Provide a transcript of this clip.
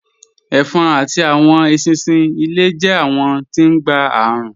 Ẹ̀fọ̀n àti awọn èṣinṣin ilẹ̀ jẹ̀ awọn tí ngbé arùn